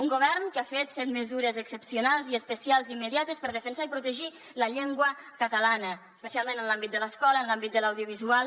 un govern que ha fet cent mesures excepcionals i especials immediates per defensar i protegir la llengua catalana especialment en l’àmbit de l’escola en l’àmbit de l’audiovisual